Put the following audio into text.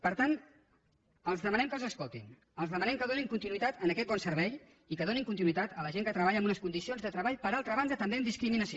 per tant els demanem que els escoltin els demanem que donin continuïtat a aquest bon servei i que donin continuïtat a la gent que treballa en unes condicions de treball per altra banda també amb discriminació